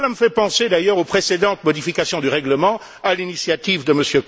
Cela me fait penser d'ailleurs aux précédentes modifications du règlement, à l'initiative de M.